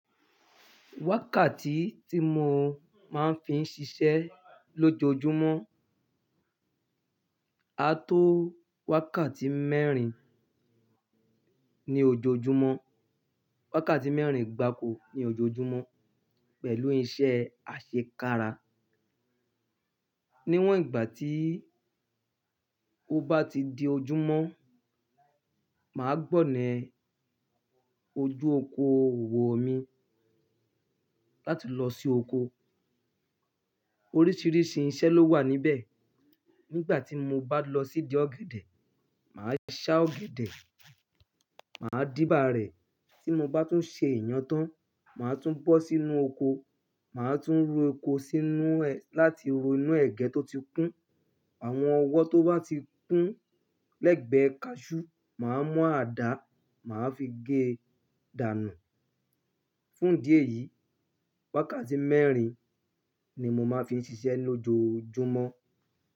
Wákàtí tí mo máa ń fi ń ṣiṣẹ́ lójoojúmọ́, a tó wákàtí mẹ́rin ní ojoojúmọ́, wákàtí mẹ́rin gbà ko ní ojoojúmọ́ pẹ̀lú iṣẹ́ àṣekára. Níwọ̀n ìgbà tí ó bá ti di ojúmọ́, mà á gbọ̀na ojú oko òwò mi láti lọ sí oko. Oríṣiríṣi iṣẹ́ ló wà níbẹ̀. Nígbà tí mo bá lọ sídi ọ̀gẹ̀dẹ̀, mà á ṣá ọ̀gẹ̀dẹ̀, mà á dìbà rẹ̀. Tí mo bá tún ṣe ìyen tán, mà á tún bọ́ sínú oko, mà á tún ro oko sínú ẹ-- láti ro inú ẹ̀gẹ́ tó ti kún. Àwọn ọwọ́ tó bá ti kún lẹ́gbẹ̀ẹ́ kaṣú, mà á mú àdá, mà á fi gé dànù. Fún ìdí eyìí, wákàtí mẹ́rin ni mo máa ń fi ń ṣiṣẹ́ lójoojúmọ́